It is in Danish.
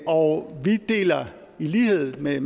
og vi deler i lighed med